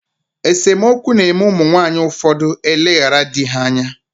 Esomokwu na eme umu nwaanyi ufodu eleghara dii ha anya.